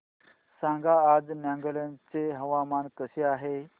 सांगा आज नागालँड चे हवामान कसे आहे